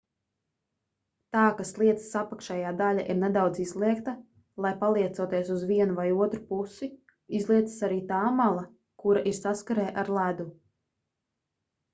tā ka slieces apakšējā daļa ir nedaudz izliekta tai paliecoties uz vienu vai otru pusi izliecas arī tā mala kura ir saskarē ar ledu